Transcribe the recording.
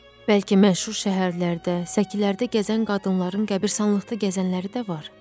Bəlkə məşhur şəhərlərdə, səkilərdə gəzən qadınların qəbiristanlıqda gəzənləri də var?